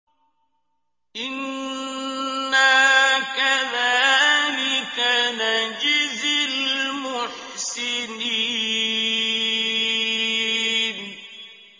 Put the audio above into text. إِنَّا كَذَٰلِكَ نَجْزِي الْمُحْسِنِينَ